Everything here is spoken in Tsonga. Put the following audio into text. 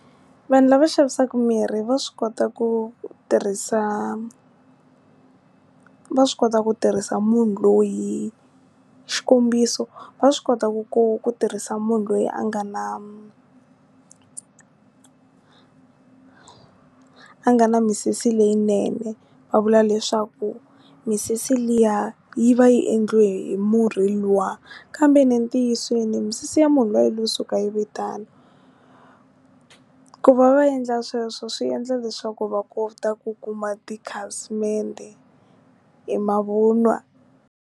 Vanhu lava xavisaka mirhi va swi kota ku tirhisa, va swi kota ku tirhisa, munhu loyi xikombiso va swi kota ku ku ku tirhisa munhu loyi a nga na, a nga na misisi leyinene va vula leswaku misisi liya yi va yi endliwe hi murhi luwa kambe entiyiseni misisi ya munhu luya yilo suka yi ve tano, ku va va endla sweswo swi endla leswaku va kota ku kuma tikhasimende i mavun'wa.